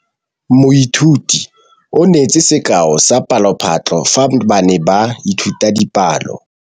Moithuti o neetse sekaô sa palophatlo fa ba ne ba ithuta dipalo.